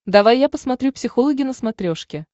давай я посмотрю психологи на смотрешке